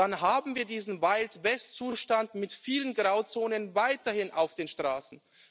Dann haben wir diesen Wild West Zustand mit vielen Grauzonen weiterhin auf den Straßen.